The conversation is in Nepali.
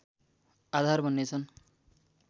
आधार बन्ने छ्न्